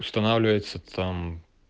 устанавливается там